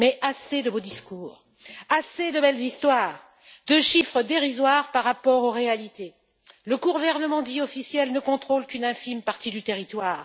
Assez de beaux discours, assez de belles histoires, de chiffres dérisoires par rapport aux réalités! Le gouvernement dit officiel ne contrôle qu'une infime partie du territoire.